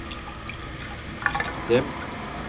demp